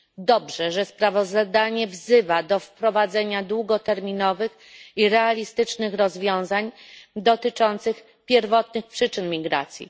Dobrze, że sprawozdanie wzywa do wprowadzenia długoterminowych i realistycznych rozwiązań dotyczących pierwotnych przyczyn migracji.